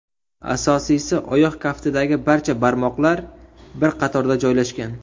Asosiysi, oyoq kaftidagi barcha barmoqlar bir qatorda joylashgan.